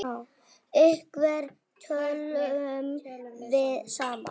Hvernig tölum við saman?